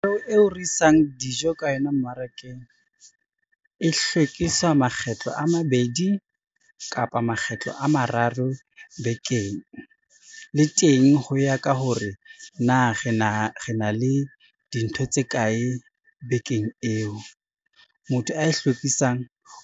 Koloi eo re e isang dijo ka yona mmarakeng, e hlwekisa makgetlo a mabedi kapa makgetlo a mararo bekeng, le teng ho ya ka hore na re na le dintho tse kae bekeng eo. Motho a e hlwekisang